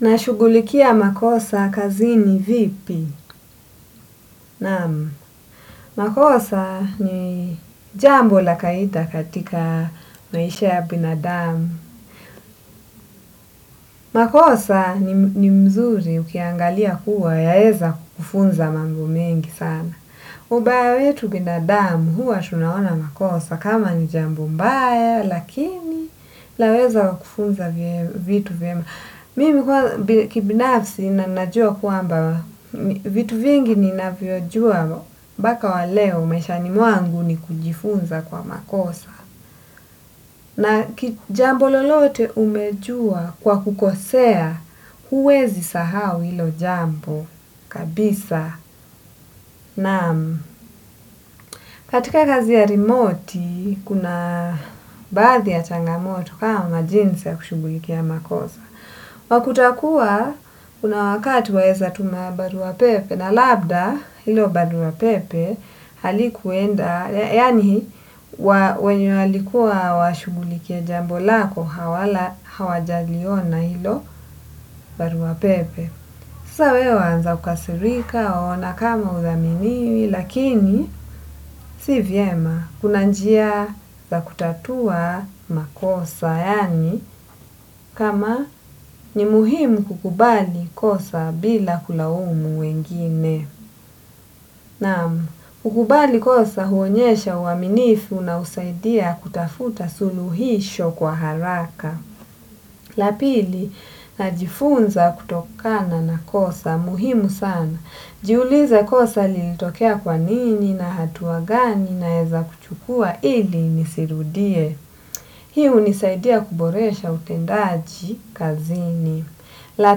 Na shugulikia makosa kazini vipi naam. Makosa ni jambo la kaita katika maisha ya binadamu. Makosa ni mzuri ukiangalia kuwa yaeza kufunza mambo mengi sana. Ubaya wetu binadamu huwa tunaona makosa kama njambo mbaya lakini laweza wakufunza vitu vema. Mimi kwanza kibanafsi na najua kwamba vitu vingi ninavyo najua mpaka wa leo maishani mwangu ni kujifunza kwa makosa na jambo lolote umejua kwa kukosea huwezi sahau ilo jambo kabisa naam. Katika kazi ya rimoti, kuna baadhi ya changamoto kama jinsi ya kushugulikia makosa. Wakuta kuwa, kuna wakati waeza tuma barua pepe na labda ilo barua pepe halikuenda, yani wenye walikuwa washugulikie jambo lako, hawajaliona ilo barua pepe. Sasa wewe waanza kukasirika waona kama huthaminiwi lakini si vyema kuna njia za kutatua makosa, yani kama ni muhimu kukubali kosa bila kulaumu wengine. Naam, kukubali kosa huonyesha uaminifu na husaidia kutafuta suluhisho kwa haraka. La pili, najifunza kutokana na kosa, muhimu sana. Jiulize kosa lilitokea kwa nini na hatua gani naeza kuchukua ili nisirudie. Hii hunisaidia kuboresha utendaji kazini. La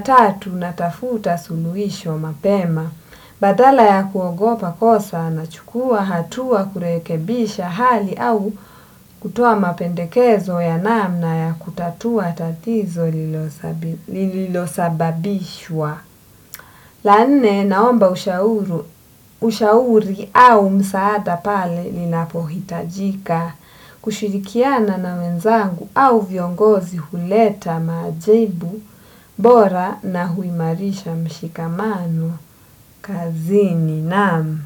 tatu, natafuta suluhisho mapema. Badala ya kuogopa kosa nachukua hatua kurekebisha hali au kutoa mapendekezo ya namna ya kutatua tatizo lilosababishwa. La nne naomba ushauri au msaada pale linapohitajika, kushirikiana na wenzangu au viongozi huleta majibu, bora na huimarisha mshikamano, kazini naam.